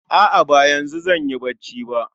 A'a ba yanzu zanyi bacci ba